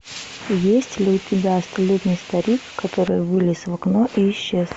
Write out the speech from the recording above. есть ли у тебя столетний старик который вылез в окно и исчез